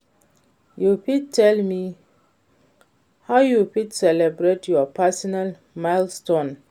you fit tell me how you fit celebrate your personal milestones?